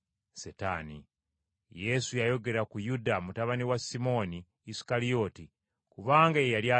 Yesu yayogera ku Yuda, mutabani wa Simooni Isukalyoti, kubanga ye yali agenda okumulyamu olukwe.